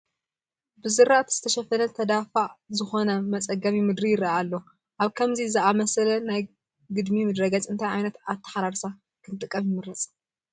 ብዝራእቲ ዝተሸፈነ ተዳፋእ ዝኾነ መፀገሚ ምድሪ ይርአ ኣሎ፡፡ ኣብ ከምዚ ዝኣምሰለ ናይ ግድሚ ምድረ ገፅ እንታይ ዓይነት ኣተሓራርሳ ክንጥቀም ይምረፅ?